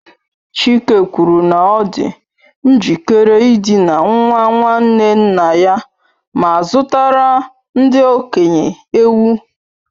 Chike kwuru na ọ dị njikere ịdina nwa nwanne nna ya ma zụtara ndị okenye ewu.